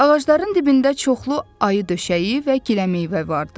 Ağacların dibində çoxlu ayədöşəyi və giləmeyvə vardı.